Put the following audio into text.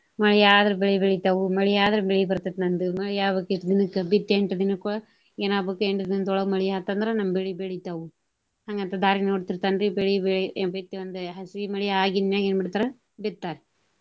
ಮಳಿ ಆದ್ರ ಬೆಳಿ ಬೆಳಿತಾವು ಮಳಿ ಆದ್ರ ಬೆಳಿ ಬರ್ತೆತಿ ನಂದು ಮಳಿ ಆಗ್ಬೇಕ ಇಷ್ಟ ದಿನಕ್ಕ ಬಿತ್ತಿ ಎಂಟ ದಿನಕ್ಕ. ಏನ ಆಗ್ಬೇಕು ಎಂಟ ದಿನದೊಳಗ ಮಳಿ ಆತ ಅಂದ್ರ ನಮ್ಮ ಬೆಳಿ ಬೆಳಿತಾವು. ಹಂಗ ಅಂತ ದಾರಿ ನೋಡ್ತಿರ್ತಾನ್ರೀ ಬೆಳಿ ಬಿತ್ತಿ ಒಂದ ಹಸಿ ಮಳಿ ಆಗಿಂದ ಏನ ಮಾಡ್ತಾರ ಬಿತ್ತಾರ.